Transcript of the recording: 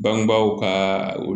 Bangebaaw ka